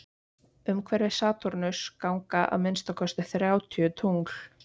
umhverfis satúrnus ganga að minnsta kosti þrjátíu tungl